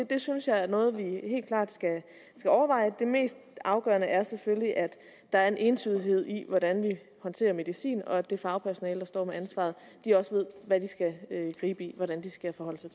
det synes jeg er noget vi helt klart skal overveje det mest afgørende er selvfølgelig at der er en entydighed i hvordan vi håndterer medicin og at det fagpersonale der står med ansvaret også ved hvordan de skal forholde sig